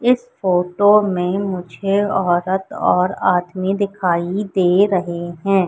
इस फोटो में मुझे औरत और आदमी दिखाई दे रहे हैं।